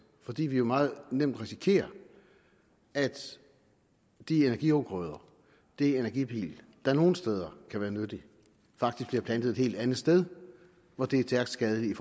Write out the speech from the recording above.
fordi vi jo meget nemt risikerer at de energiafgrøder energipil der nogle steder kan være nyttige faktisk bliver plantet et helt andet sted hvor det er stærkt skadeligt i